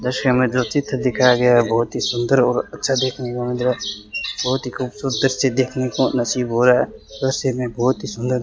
दृश्य में जो चित्र दिखाया गया है बहोत ही सुंदर और अच्छा देखने को मिल रहा है बहोत ही खूबसूरत दृश्य देखने को नसीब हो रहा है दृश्य में बहोत ही सुंदर --